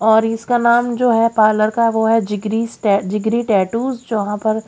और इसका नाम जो है पार्लर का वो है जिगरी जिगरी टैटू जहां पर--